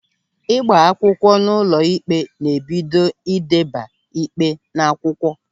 Ịgba akwụkwọ n'ụlọ ikpe ná-ebido n'ideba ịkpe n'akwụkwọ.